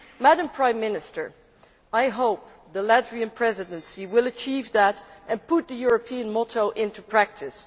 Madam Prime Minister, I hope the Latvian Presidency will achieve that and put the European motto into practice.